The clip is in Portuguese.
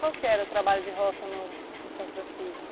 Qual que era o trabalho de roça no no São Francisco?